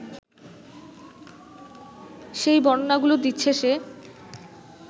সেই বর্ণনাগুলো দিচ্ছে সে